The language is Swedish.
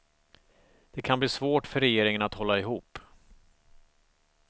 Det kan bli svårt för regeringen att hålla ihop.